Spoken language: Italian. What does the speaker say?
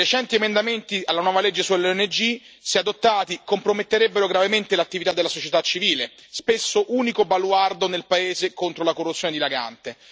I recenti emendamenti alla nuova legge sulle ONG, se adottati, comprometterebbero gravemente l'attività della società civile, spesso unico baluardo nel paese contro la corruzione dilagante.